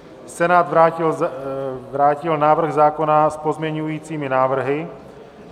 Senát vrátil návrh zákona s pozměňovacími návrhy.